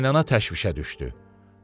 Qaynana təşvişə düşdü.